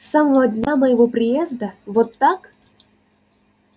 с самого дня моего приезда вот как